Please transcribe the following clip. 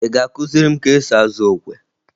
Ị ga-akụziri m ka esi azụ okwe!